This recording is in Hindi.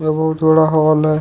बहुत बड़ा हाल है।